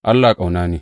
Allah ƙauna ne.